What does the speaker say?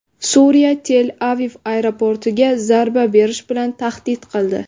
Suriya Tel-Aviv aeroportiga zarba berish bilan tahdid qildi.